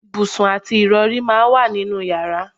Ibùsùn àti ìrọ̀rí máa ń wà ní inú yàrá